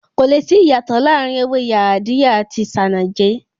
Kò le sí ìyàtò láàrin ewé Yaadiya àti Isanaje